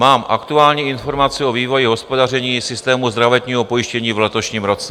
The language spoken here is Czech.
Mám aktuální informaci o vývoji hospodaření systému zdravotního pojištění v letošním roce.